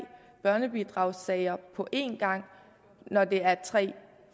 børnebidragssager på en gang når det er tre